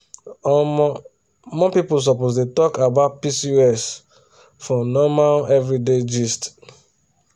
omo more people suppose dey talk about pcos for normal everyday gist.